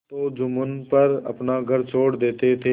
तो जुम्मन पर अपना घर छोड़ देते थे